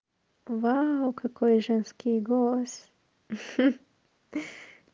вау какой женский голос ха